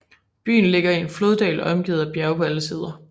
Byen ligger i en floddal omgivet af bjerge på alle sider